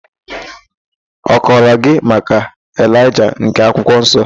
Ọ kọrọ gị maka Elaịja nke akwụkwọ nsọ?